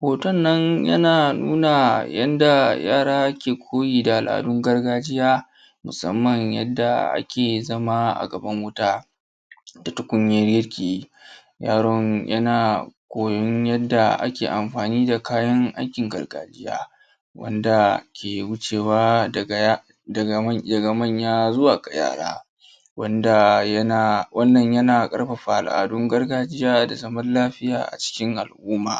Hoton nan yana nuna yadda yaara ke koyi da al’adun gargajiya, musamman yanda ake zama a gaban wutaa, da tukunyar girki. Yaron yana koyon yadda ake amfani da kayan aikin gargajiya, wanda ke wucewa daga manya zuwa ga yara. Wannan yana ƙarfafa al’adun gargajiya da zaman lafiya cikin al’uma.